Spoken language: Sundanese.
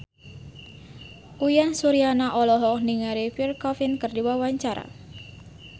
Uyan Suryana olohok ningali Pierre Coffin keur diwawancara